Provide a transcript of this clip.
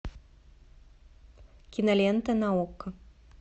кинолента на окко